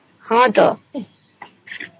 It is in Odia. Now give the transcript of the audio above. ହଁ